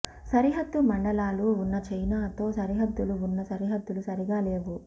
సరిహద్దు మండలాలు ఉన్న చైనాతో సరిహద్దులు ఉన్న సరిహద్దులు సరిగ్గా లేవు